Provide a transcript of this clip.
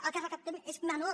el que recaptem és menor